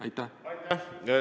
Aitäh!